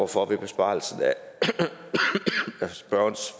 for i besvarelsen af spørgerens